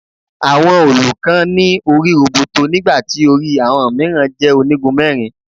Àwọn òòlù kan ní orí roboto nígbà tí orí àwọn mìíràn jẹ́ onígun mẹ́rin.